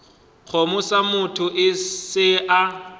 kgomo sa motho se a